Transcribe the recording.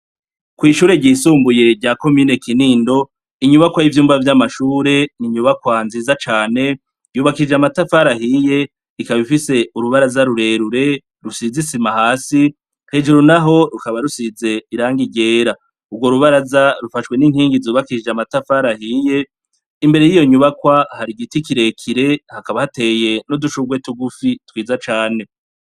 Kw'ishure ryisumbuye rya komine Kinindo, inyubakwa y'ivyumba vy'amashure ni inyubakwa nziza cane, yubakishije amatafari ahiye, ikaba ifise urubaraza rurerure rusize isima hasi, hejuru na ho rukaba rusize irangi ryera. Urwo rubaraza, rufashwe n'inkingi zubakishije amatafari ahiye, imbere y'iyo nyubakwa hari igiti kirekire, hakaba hateye n'udushurwe tugufi twiza cane.